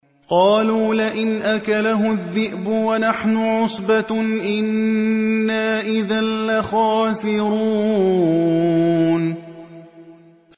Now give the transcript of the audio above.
قَالُوا لَئِنْ أَكَلَهُ الذِّئْبُ وَنَحْنُ عُصْبَةٌ إِنَّا إِذًا لَّخَاسِرُونَ